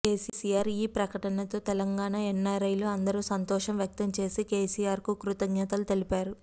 కేసీఆర్ ఈ పకతనతో తెలంగాణా ఎన్నారైలు అందరు సంతోషం వ్యక్తం చేసి కేసీఆర్ కి కృతజ్ఞతలు తెలిపారు